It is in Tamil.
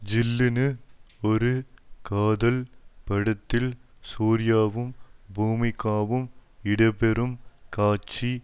ஜில்லுனு ஒரு காதல் படத்தில் சூர்யாவும் பூமிகாவும் இடம்பெறும் காட்சி